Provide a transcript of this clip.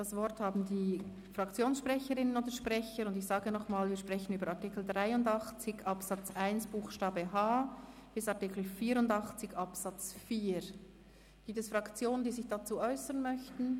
Das Wort haben die Fraktionssprecherinnen oder Fraktionssprecher, und ich sage noch einmal, wir sprechen über Artikel 83 Absatz 1 Buchstabe h bis Artikel 84 Absatz 4. Gibt es Fraktionen, die sich dazu äussern möchten?